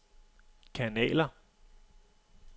kanaler